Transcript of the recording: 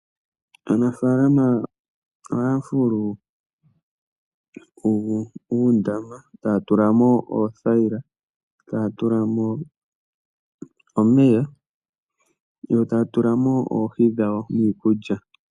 Aanafalama ohaya fulu uundama, taya tulamo uuthaila, taya tulamo omeya, yo taya tulamo oohi dhawo niikulya.